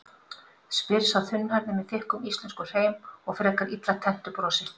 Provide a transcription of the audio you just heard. spyr sá þunnhærði með þykkum íslenskum hreim og frekar illa tenntu brosi.